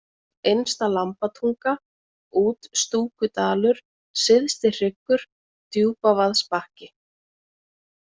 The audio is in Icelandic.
Innsta-Lambatunga, Útstúkudalur, Syðstihryggur, Djúpavaðsbakki